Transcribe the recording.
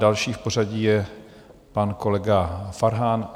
Další v pořadí je pan kolega Farhan.